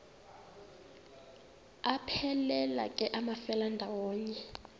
aphelela ke amafelandawonye